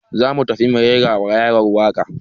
Za mu tafi mu raira wa yaran waka